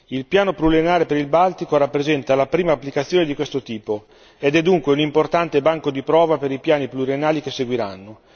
Il piano pluriennale per il Baltico rappresenta la prima applicazione di questo tipo ed è dunque un importante banco di prova per i piani pluriennali che seguiranno.